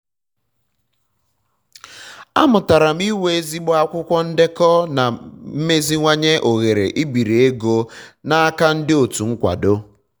amụtara m na inwe ezigbo akwụkwọ ndekọ na meziwanye ohere ibiri ego na-aka ndị otu nkwado